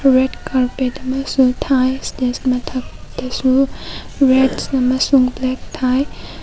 Red carpet ꯑꯃꯁꯨ ꯊꯥꯏ stage ꯝꯊꯛꯇꯁꯨ ꯔꯦꯗꯁ ꯑꯃꯁꯨ ꯕ꯭ꯂꯦꯛ ꯊꯥꯏ꯫